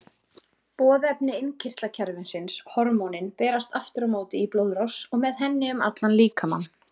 Boðefni innkirtlakerfisins, hormónin, berast aftur á móti í blóðrás og með henni um allan líkamann.